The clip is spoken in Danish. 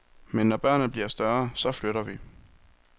Men når børnene bliver større, så flytter vi.